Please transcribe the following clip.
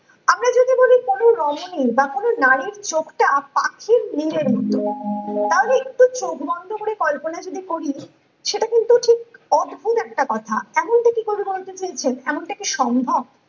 কোনো রমণীর বা কোনো নারীর চোখটা পাখির নিরের মতো তার একটি চোখ বন্ধ করে কল্পনা যদি করি সেটা কিন্তু ঠিক অদ্ভুদ একটা কথা এমনকি কবি বলতে চেয়েছেন এমানটাকি সম্ভব